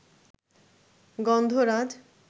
গন্ধরাজ